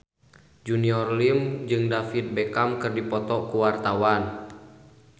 Junior Liem jeung David Beckham keur dipoto ku wartawan